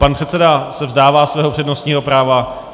Pan předseda se vzdává svého přednostního práva.